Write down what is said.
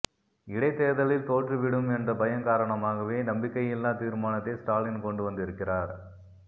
இடைத்தேர்தலில் தோற்றுவிடும் என்ற பயம் காரணமாகவே நம்பிக்கையில்லா தீர்மானத்தை ஸ்டாலின் கொண்டு வந்திருக்கிறார்